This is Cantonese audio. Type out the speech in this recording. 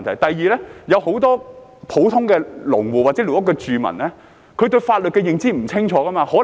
第二，有很多普通農戶或寮屋住民對法律的認知不清楚。